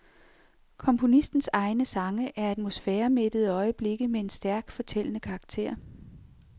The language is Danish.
Komponistens egne sange er atmosfæremættede øjeblikke med en stærkt fortællende karakter.